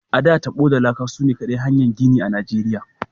A,da, tabo da laka sune kaɗai kayan gini a Nigeriya.